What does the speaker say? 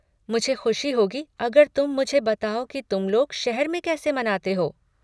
मुझे ख़ुशी होगी अगर तुम मुझे बताओ कि तुम लोग शहर में कैसे मनाते हो।